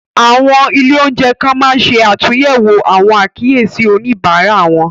Àwọn ilé-oúnjẹ kan máa n se àtúnyẹwò àwọn àkíyèsí oníbárà wọn.